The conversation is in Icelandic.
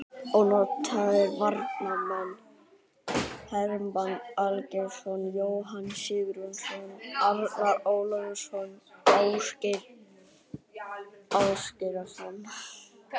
Ónotaðir varamenn: Hermann Aðalgeirsson, Jóhann Sigurðsson, Arnar Úlfarsson, Ásgeir Ásgeirsson.